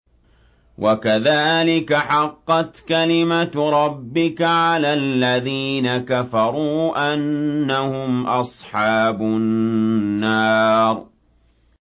وَكَذَٰلِكَ حَقَّتْ كَلِمَتُ رَبِّكَ عَلَى الَّذِينَ كَفَرُوا أَنَّهُمْ أَصْحَابُ النَّارِ